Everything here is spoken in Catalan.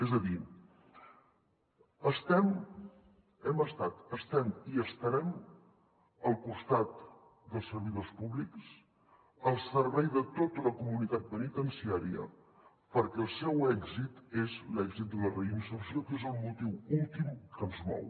és a dir hem estat estem i estarem al costat dels servidors públics al servei de tota la comunitat penitenciària perquè el seu èxit és l’èxit de la reinserció que és el motiu últim que ens mou